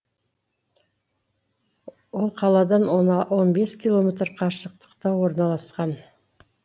ол қаладан он бес километр қашықтықта орналасқан